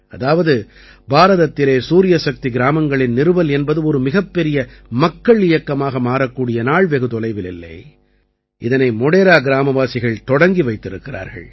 அதாவது பாரதத்திலே சூரியசக்தி கிராமங்களின் நிறுவல் என்பது ஒரு மிகப்பெரிய மக்கள் இயக்கமாக மாறக்கூடிய நாள் வெகுதொலைவில் இல்லை இதனை மோடேரா கிராமவாசிகள் தொடங்கி வைத்திருக்கிறார்கள்